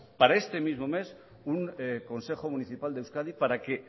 para este mismo mes un consejo municipal de euskadi para que